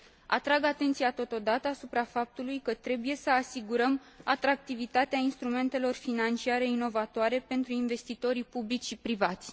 Atrag atenția totodată asupra faptului că trebuie să asigurăm atractivitatea instrumentelor financiare inovatoare pentru investitorii publici și privați.